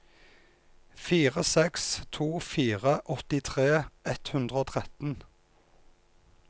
fire seks to fire åttitre ett hundre og tretten